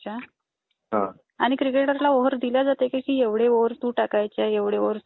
अच्छा, आणि क्रिकेटरला ओवर दिले जाते की एवढे ओवर तू टाकायचे एवढे ओवर तू टाकायचे